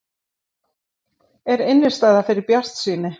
En er innistæða fyrir bjartsýni?